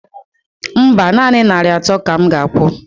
Mba, nanị narị atọ ka m ga akwụ